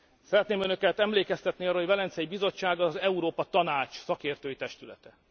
Szeretném Önöket emlékeztetni arra, hogy a Velencei Bizottság az Európa Tanács szakértői testülete.